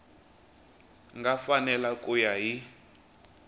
nga fanela ku ya hi